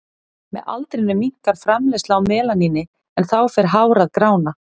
Með aldrinum minnkar framleiðsla á melaníni en þá fer hár að grána.